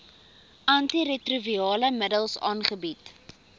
antiretrovirale middels aangebied